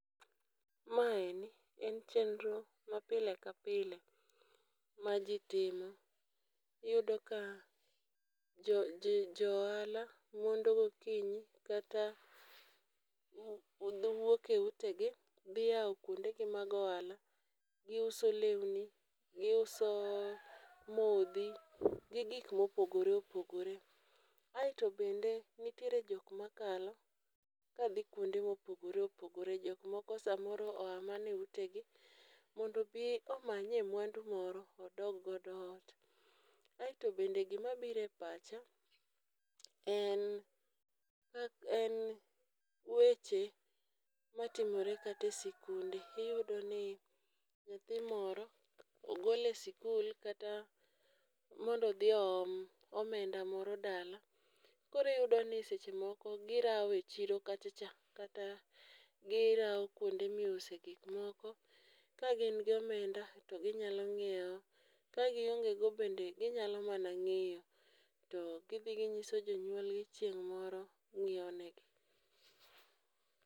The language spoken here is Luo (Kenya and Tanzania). Maeni en chenro mapile kapile maji timo iyudo ka jo ohala mondo gokinyi kata giwuok e utegi dhi yawo kuondegi mag ohala. Giuso lewni, giuso modhi gi gik mopogore opogore. Kaeto bende nitie jok makalo kadhi kuonde ma opogore opogore. Jok moko samoro oa mana eutegi mondo obi omanyie mwandu moro odog godo ot. Kaeto bende gima biro e pacha en kak en weche matimore kata e sikunde iyudo ni nyathi moro ogol e sikul kata mondo odhi oom omenda moro dala koro iyudo ni seche moko girawo e chiro kacha cha, kata girawo kuonde ma iuse gik moko kagin gi omenda to ginyalo nyiewo ka giongego bende ginyalo mana ng'iyo to gidhi gnyiso jonyuolgi to chieng' moro nyiewo negi.